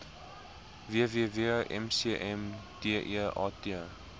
www mcm deat